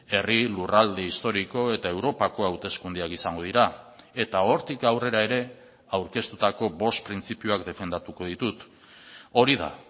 herri lurralde historiko eta europako hauteskundeak izango dira eta hortik aurrera ere aurkeztutako bost printzipioak defendatuko ditut hori da